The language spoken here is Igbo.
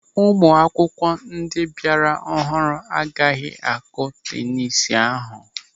Ụmụ akwụkwọ ndị bịara ọhụrụ agaghị akụ tenis ahụ.